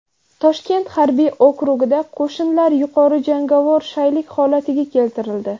Toshkent harbiy okrugida qo‘shinlar yuqori jangovar shaylik holatiga keltirildi .